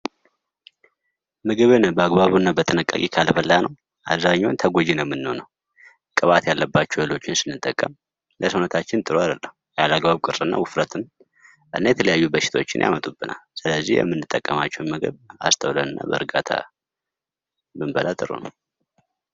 ምግብን በአግባቡ ካልተመገብን አብዛኛውን ተጎጅ እንሆናለን የቅባት ምግቦችን ስንበላ ከልክ ያለፈ ውፍረትን ያመጣል።